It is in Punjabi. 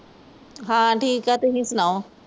ਹਾਂ ਠੀਕ ਐ ਤੁਸੀਂ ਸੁਣਾਓ